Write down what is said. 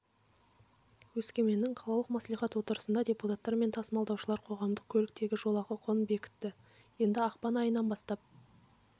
өскеменнің қалалық мәслихат отырысында депутаттар мен тасымалдаушылар қоғамдық көліктегі жолақы құнын бекітті енді ақпан айынан бастап